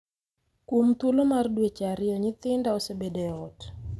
“Kuom thuolo mar dweche ariyo nyithinda osebedo e ot,”